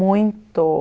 Muito.